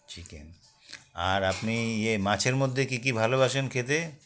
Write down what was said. chicken আর আপনি ইয়ে মাছের মধ্যে কী কী ভালোবাসেন খেতে